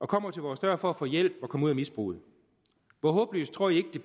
kommer til vores dør for at få hjælp og komme ud af misbruget hvor håbløst